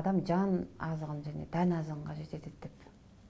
адам жан азығын және тән азығын қажет етеді деп